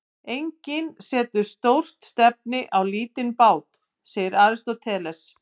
Enginn setur stórt stefni á lítinn bát, segir Aristóteles.